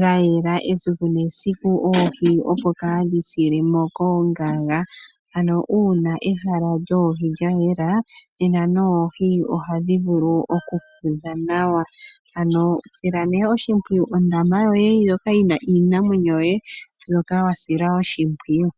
ga yela esiku nesiku, oohi opo kadhi sile mo koongaga. Ano uuna ehala lyoohi lya yela, nena noohi ohadhi vulu okufudha nawa. Ano sila nee oshimpwiyu ondama yoye ndjoka yi na iinamwenyo yoye mbyoka wa sila oshimpwiyu.